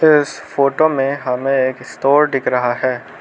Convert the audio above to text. इस फोटो में हमें एक स्टोर दिख रहा है।